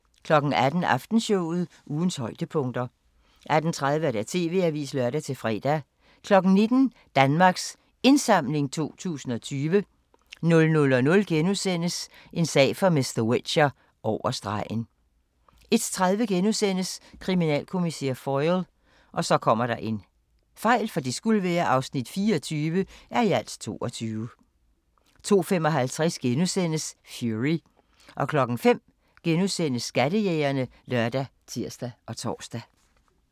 18:00: Aftenshowet – ugens højdepunkter 18:30: TV-avisen (lør-fre) 19:00: Danmarks Indsamling 2020 00:00: En sag for mr. Whicher: Over stregen * 01:30: Kriminalkommissær Foyle (24:22)* 02:55: Fury * 05:00: Skattejægerne *( lør, tir, tor)